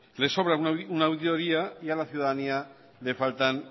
le sobra una auditoría y a la ciudadanía le faltan